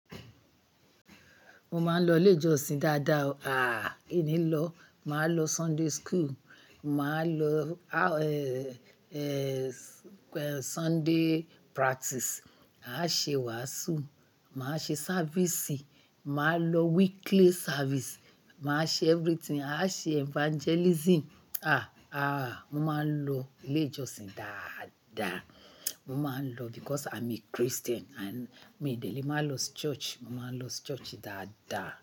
Mo máa ń lọ ilé ìjọsìn dáadáa o. À, ìní lọ máa lọ Sunday school, màá lọ, a, eh, Sunday practice, a ṣe wàásù, màá ṣe sávìsì, màá lọ weekly service, màá ṣe everything, a ṣe evangelism. À, à, mo máa ń lọ ilé ìjọsìn dáadáa. Mo máa ń lọ because I'm a Christian and mi dé lè máa lọ church. Mo máa ń lọ church dáadáa.